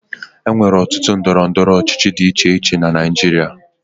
E nwere otu ndọrọndọrọ ọchịchị dị iche iche na Naịjirịa.